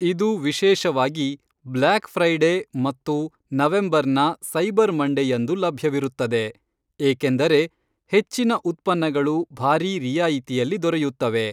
ಇದು ವಿಶೇಷವಾಗಿ black Friday ಮತ್ತು ನವೆಂಬರ್ನ ಸೈಬರ್ ಮಂಡೆಯಂದು ಲಭ್ಯವಿರುತ್ತದೆ, ಏಕೆಂದರೆ ಹೆಚ್ಚಿನ ಉತ್ಪನ್ನಗಳು ಭಾರಿ ರಿಯಾಯಿತಿಯಲ್ಲಿ ದೊರೆಯುತ್ತವೆ.